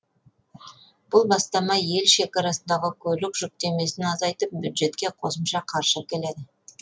бұл бастама ел шекарасындағы көлік жүктемесін азайтып бюджетке қосымша қаржы әкеледі